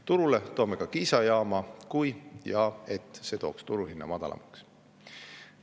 Turule toome ka Kiisa jaama, kui‑ja‑et see toob või tooks turuhinna madalamaks.